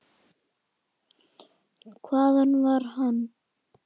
Hvaðan var hann?